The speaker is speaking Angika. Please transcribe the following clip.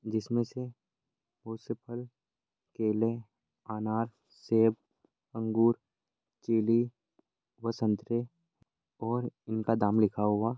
जिसमे से बहुत से फल केले अनार सेब अंगूर चिली व संतरे और इनका दाम लिखा हुआ--